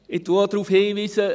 Ich weise auch darauf hin …